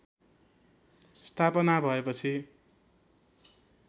स्थापना भएपछि